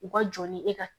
U ka jɔn ni e ka